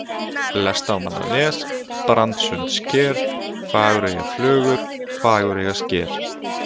Lestamannanes, Brandssundssker, Fagureyjarflögur, Fagureyjarsker